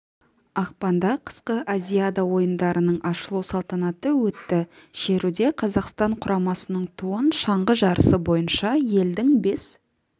ақпанда қысқы азиада ойындарының ашылу салтанаты өтті шеруде қазақстан құрамасының туын шаңғы жарысы бойынша елдің бес